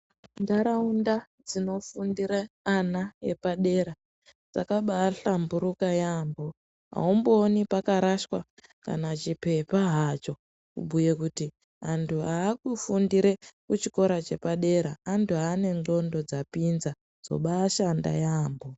Ntaraunda dzinofundire ana epadera dzakabaahlamburuka yaampho. Aumbooni pakarashwa, kana chiphepha hacho, kubhuye kuti antu aakufundire kuchikora chepadera ,antu ane ndxondo dzapinza, dzobaashanda yaamho.